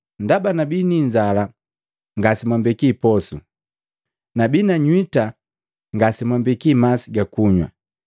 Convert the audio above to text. Ndaba nabii ni inzala ngasemwambeki posu, nabii na nywita ngasemwambeki masi gakunywa.